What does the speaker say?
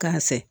K'a sɛ